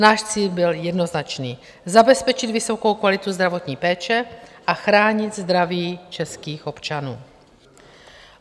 Náš cíl byl jednoznačný - zabezpečit vysokou kvalitu zdravotní péče a chránit zdraví českých občanů.